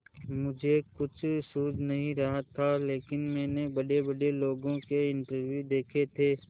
मुझे कुछ सूझ नहीं रहा था लेकिन मैंने बड़ेबड़े लोगों के इंटरव्यू देखे थे